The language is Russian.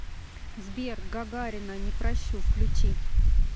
сбер гагарина не прощу включи